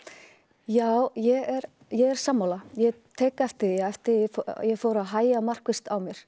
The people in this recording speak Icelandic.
já ég er ég er sammála ég tek eftir því eftir að ég fór að hægja markvisst á mér